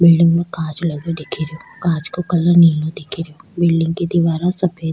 building में कांच लगो दिख रो कांच को कलर नीलो दिख रो बिलडिंग की दीवारा सफेद --